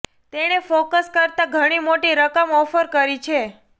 તેણે ફોકસ કરતા ઘણી મોટી રકમ ઓફર કરી છે